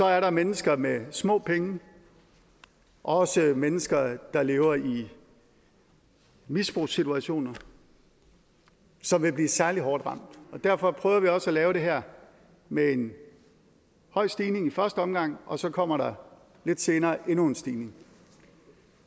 er der mennesker med små penge og også mennesker der lever i misbrugssituationer som vil blive særlig hårdt ramt derfor prøver vi også at lave det her med en høj stigning i første omgang og så kommer der lidt senere endnu en stigning